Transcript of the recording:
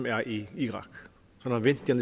er i irak han vendte